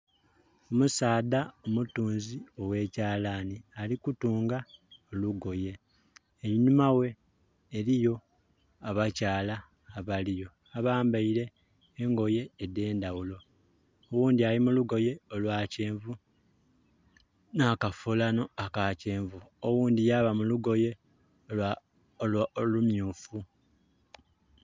Omusaadha omutuunzi ogh'ekyalaani ali kutunga olugoye, einuma ghe eliyo abakyala abaliyo abambaile engoye edhendhaghulo, oghundi ali mu lugoye olwa kyenvu n'akafulano aka kyenvu oghundhi yaba mu lugoye olumyufu.